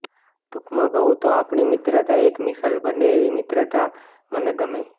ટૂંકમાં કહું તો આપણી મિત્રતા એક મિસાલ બને એવી મિત્રતા મને ગમે